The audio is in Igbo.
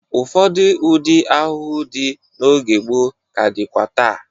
Ụfọdụ ụdị ahụhụ dị n'oge gboo ka dịkwa taa.